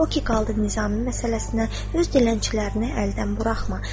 O ki qaldı Nizami məsələsinə, öz dilənçilərini əldən buraxma.